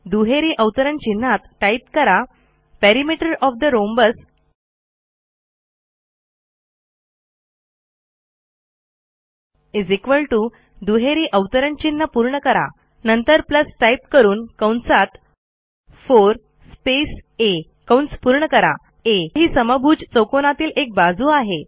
दुहेरी अवतरण चिन्हात टाईप करा टाईप कराPerimeter ओएफ ठे रोम्बस दुहेरी अवतरण चिन्ह पूर्ण करा नंतर टाईप करून 4 स्पेस आ आ ही समभुज चौकोनातील एक बाजू आहे